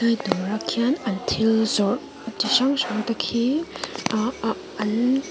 dawrah khian an thil zawrh chi hrang hrang te khi aa an--